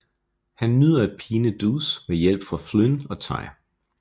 Han nyder at pine Deuce med hjælp fra Flynn og Ty